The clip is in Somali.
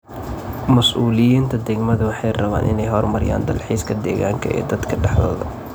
Mas'uuliyiinta degmadu waxay rabaan inay horumariyaan dalxiiska deegaanka ee dadka dhexdooda.